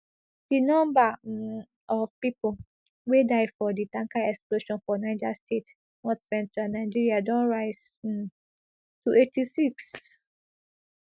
di number um of pipo wey die for di tanker explosion for niger state northcentral nigeria don rise um to eighty-six